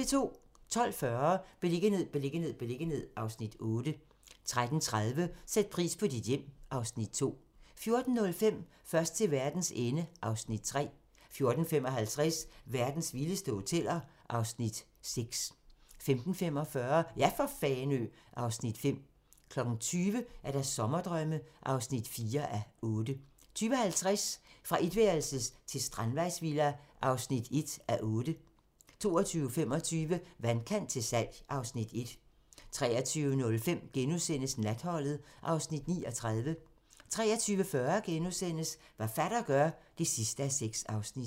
12:40: Beliggenhed, beliggenhed, beliggenhed (Afs. 8) 13:30: Sæt pris på dit hjem (Afs. 2) 14:05: Først til verdens ende (Afs. 3) 14:55: Verdens vildeste hoteller (Afs. 6) 15:45: Ja for Fanø (Afs. 5) 20:00: Sommerdrømme (4:8) 20:50: Fra etværelses til strandvejsvilla (1:6) 22:25: Vandkant til salg (Afs. 1) 23:05: Natholdet (Afs. 39)* 23:40: Hvad Heinos fatter gør (6:6)*